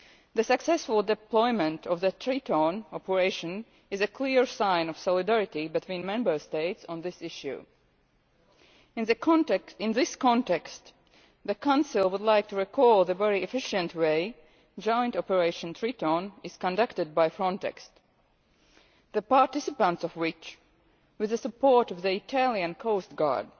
The successful deployment of the Triton operation is a clear sign of solidarity between Member States on this issue. In this context, the Council would like to highlight the very efficient way in which joint operation Triton is conducted by Frontex, the participants of which, with the support of the Italian coastguard,